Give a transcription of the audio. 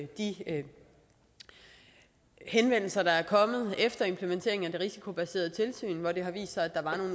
de henvendelser der er kommet efter implementeringen af det risikobaserede tilsyn hvor det har vist sig at der var